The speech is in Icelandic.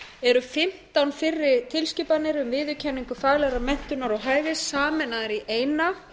eru fimmtán fyrri tilskipanir um viðurkenningu faglegrar menntunar og hæfis sameinaðar í eina